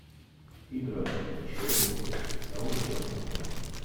игра челси саутгемптон